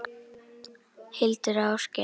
Hildur og Ásgeir.